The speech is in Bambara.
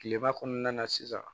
Kilema kɔnɔna sisan